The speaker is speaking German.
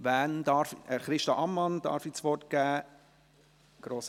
Ich darf Christa Ammann das Wort geben.